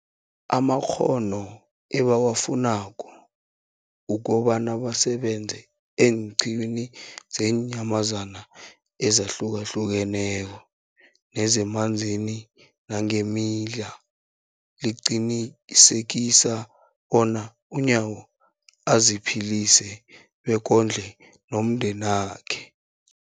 amakghono ebawafunako ukobana basebenze eenqiwini zeenyamazana ezihlukahlukeneko nezemanzini nangeemila, liqinisekisa bona uNyawo aziphilise bekondle nomndenakhe.